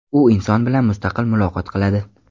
U inson bilan mustaqil muloqot qiladi.